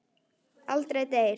Aldrei deyr.